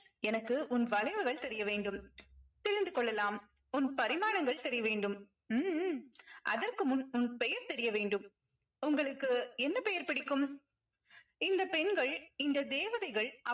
எனக்கு உன் வளைவுகள் தெரிய வேண்டும் தெரிந்து கொள்ளலாம் உன் பரிமாணங்கள் தெரிய வேண்டும் உம் உம் அதற்கு முன் உன் பெயர் தெரிய வேண்டும் உங்களுக்கு என்ன பெயர் பிடிக்கும் இந்த பெண்கள் இந்த தேவதைகள்